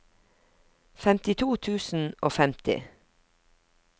femtito tusen og femti